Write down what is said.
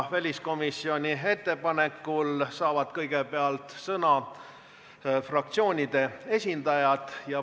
Väliskomisjoni ettepanekul saavad kõigepealt sõna fraktsioonide esindajad.